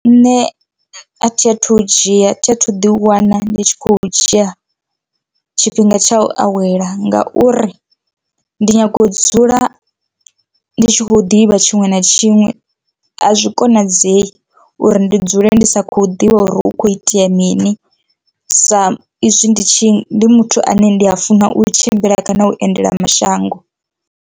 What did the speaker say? Nṋe a thi a thu u dzhia a thi a thu ḓi wana ndi tshi khou dzhia tshifhinga tsha u awela ngauri ndi nyaga u dzula ndi tshi khou ḓivha tshiṅwe na tshiṅwe, a zwi konadzei uri ndi dzule ndi sa khou ḓivha uri hu kho itea mini sa izwi ndi tshi ndi muthu ane ndi a funa u tshimbila kana u endela mashango.